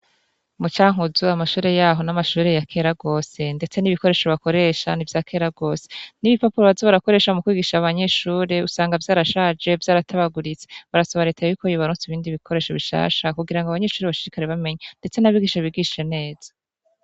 Mu Cankuzo amashure yaho ni amashure yakera gose ndetse n' ibikoresho bakoresha ni ivyakera gose n' ibipapuro bakoresha mu kwigisha abanyeshure usanga vyarashaje vyaratabaguritse barasaba reta yuko yobaronsa ibindi bikoresho bishasha kugira ngo abanyeshure bashishikare bamenya ndetse n' abigisha bigishe neza.